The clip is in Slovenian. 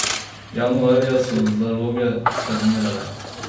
Januarja so zaloge stagnirale.